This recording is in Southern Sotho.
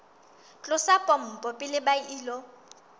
tlosa pompo pele ba ilo